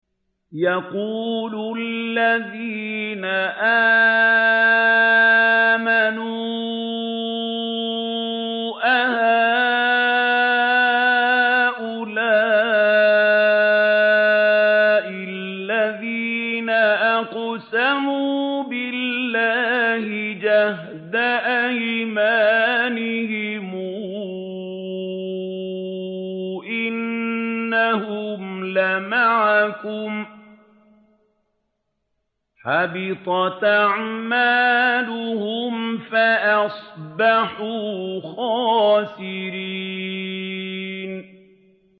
وَيَقُولُ الَّذِينَ آمَنُوا أَهَٰؤُلَاءِ الَّذِينَ أَقْسَمُوا بِاللَّهِ جَهْدَ أَيْمَانِهِمْ ۙ إِنَّهُمْ لَمَعَكُمْ ۚ حَبِطَتْ أَعْمَالُهُمْ فَأَصْبَحُوا خَاسِرِينَ